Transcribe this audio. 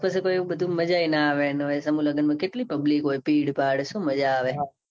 પછી કોય એવું બધું મજા યે નાં આવે ને ઓય સમું લગન માં કેટલી public ભીડ ભાળ શું મજા આવે